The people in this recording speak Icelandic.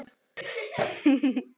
Elsku Bragi bróðir minn.